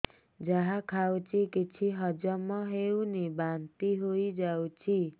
ଯାହା ଖାଉଛି କିଛି ହଜମ ହେଉନି ବାନ୍ତି ହୋଇଯାଉଛି